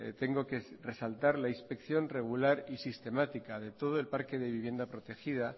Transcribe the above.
tengo que resaltar la inspección regular y sistemática de todo el parque de vivienda protegida